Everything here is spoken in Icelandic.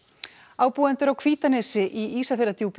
ábúendur á Hvítanesi í Ísafjarðardjúpi